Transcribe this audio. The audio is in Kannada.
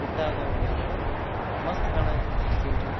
ಗುಡ್ಡ ಇದ್ದವ್ರಿ ಎಲ್ಲ ಮಸ್ತ್ ಕಾಣತೀತಿ ಸೀನ್ದ್ರಿ .